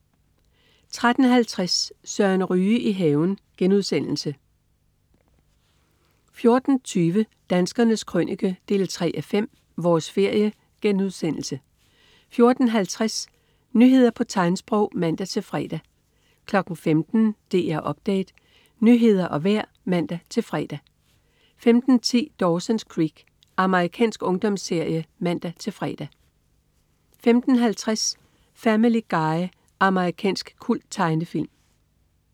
13.50 Søren Ryge i haven* 14.20 Danskernes Krønike 3:5. Vores ferie* 14.50 Nyheder på tegnsprog (man-fre) 15.00 DR Update. Nyheder og vejr (man-fre) 15.10 Dawson's Creek. Amerikansk ungdomsserie (man-fre) 15.50 Family Guy. Amerikansk kulttegnefilm